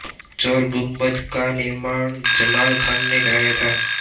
चोर गुम्बद का निर्माण जमाल खान ने कराया था